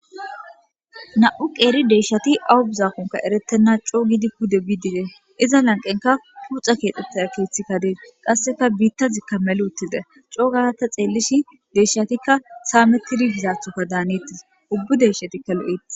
Na'u qeeri deyshati awu buzakonka erettenna coo gidi kude biidite iza lanqenka puxa keexxetaa keeththikka dees qasseka biitta zikka mel uttide coo garata xeellishi deeshatikka saamettidi bizaathoka daanettis ubbu deshatikka lo7ettis.